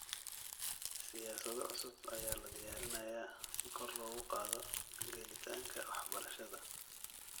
Siyaasado cusub ayaa la diyaarinayaa si kor loogu qaado gelitaanka waxbarashada.